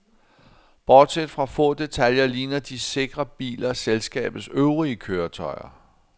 Bortset fra få detaljer ligner de sikre biler selskabets øvrige køretøjer.